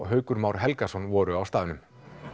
Haukur Már Helgason voru á staðnum